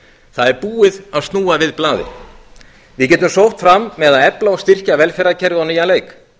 það er búið að snúa við blaðinu við getum sótt fram með að efla og styrkja velferðarkerfið á nýjan leik